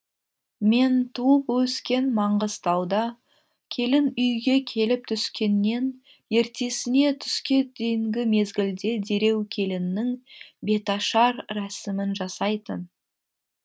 мен туып өскен маңғыстауда келін үйге келіп түскеннен ертесіне түске дейінгі мезгілде дереу келіннің беташар рәсімін жасайтын